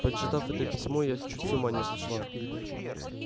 прочитав это письмо я чуть с ума не сошла